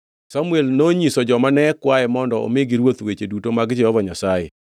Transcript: Samuel nonyiso joma ne kwaye mondo omigi ruoth weche duto mag Jehova Nyasaye.